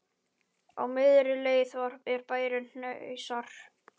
Á miðri leið er bærinn Hnausar.